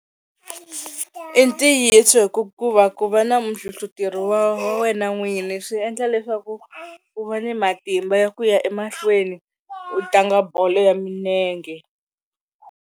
I ntiyiso hi ku ku va ku va na muhlohloteri wa wa wena n'wini swi endla leswaku u va ni matimba ya ku ya emahlweni u tlanga bolo ya milenge.